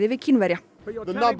við Kínverja